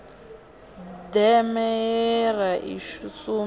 deme ye ra i sumba